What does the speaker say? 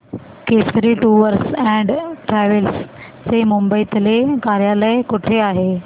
Kesari tours and travels चे मुंबई तले कार्यालय कुठे आहे